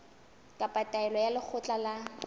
kapa taelo ya lekgotla la